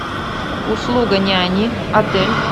услуга няни отель